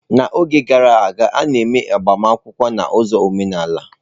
N'oge gara aga, a na-eme agbamakwụkwọ na ụzọ omenala.